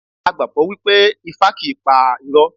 A gbàgbọ́ wípé Ifá kì í pa irọ́.